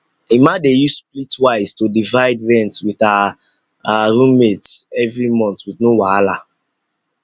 emma dey use splitwise to divide rent with her her roommates every month with no wahala